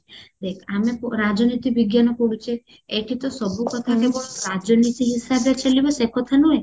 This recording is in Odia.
ଦେଖ ଆମେ ରାଜନୀତି ବିଜ୍ଞାନ ପଢୁଚେ ଏଠି ତ ସବୁ କଥା କେବଳ ରାଜନୀତି ହିସାବରେ ଚାଲିବ ସେ କଥା ନୁହେ